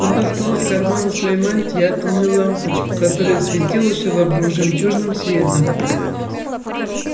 он достал из кармана своей мантии атомную лампочку которая светила всё вокруг жемчужным светом